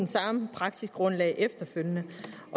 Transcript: samme praksisgrundlag efterfølgende